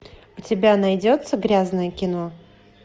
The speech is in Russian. у тебя найдется грязное кино